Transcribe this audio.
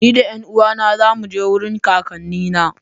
Ni da 'yan uwana za mu je wurin kakannina.